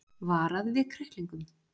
Varað við kræklingum